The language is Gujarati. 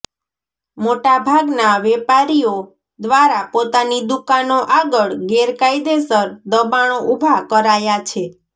મોટાભાગના વેપારીઓ દ્વારા પોતાની દુકાનો આગળ ગેરકાયદેસર દબાણો ઉભાં કરાયાં છે